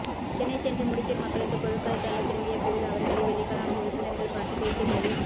சென்னை சென்று முடிச்சூர் மக்களுக்கு பொருட்களைத் தந்து திரும்பிய பெல் அவர்களை விதைக்கலாம் உறுப்பினர்கள் பார்த்துப் பேசியபொழுது